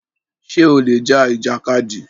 Ṣè ó lè já ìjàkádì?